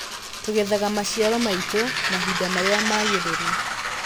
Tũgethaga maciaro maitũ mahinda marĩa magĩrĩru.